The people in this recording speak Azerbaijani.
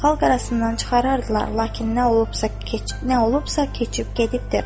Xalq arasından çıxarardılar, lakin nə olubsa nə olubsa keçib gedibdir.